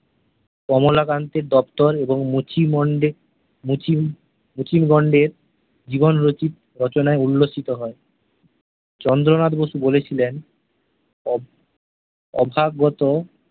কমলাকান্তের দপ্তর এবং মুচিমন্দে মুচি মুচিমন্দের জীবনচরিত রচনায় উল্লসিত হয় । চন্দ্রনাথ বসু বলেছিলেন অভাগত